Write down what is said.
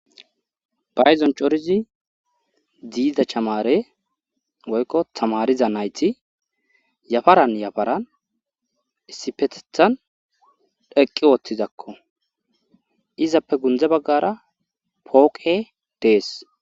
Payzon corizi ziida chamare woykko tamariza nayti yafaran yafaran issifetethan dheqqi woottizakko izappe gundze baggara pooqe dees